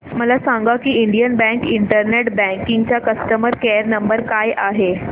मला सांगा की इंडियन बँक इंटरनेट बँकिंग चा कस्टमर केयर नंबर काय आहे